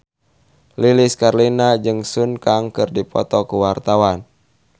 Lilis Karlina jeung Sun Kang keur dipoto ku wartawan